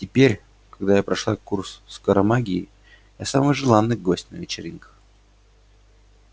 теперь когда я прошла курс скоромагии я самый желанный гость на вечеринках